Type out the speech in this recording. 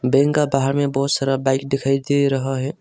Bank का बाहर में बहुत सारा बाइक दिखाई दे रहा है।